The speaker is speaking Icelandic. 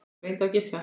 Reyndu að giska.